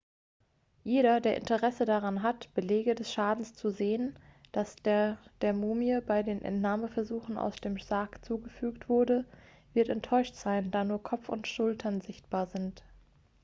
jeder der interesse daran hat belege des schadens zu sehen der der mumie bei den entnahmeversuchen aus dem sarg zugefügt wurde wird enttäuscht sein da nur kopf und schultern sichtbar sind